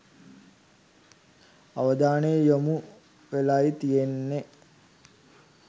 අවධානය යොමු වෙලයි තියෙන්නෙ.